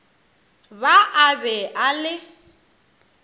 ba a be a le